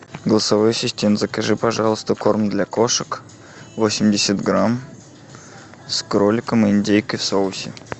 голосовой ассистент закажи пожалуйста корм для кошек восемьдесят грамм с кроликом и индейкой в соусе